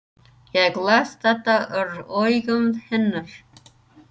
Ég les þetta úr augum hennar.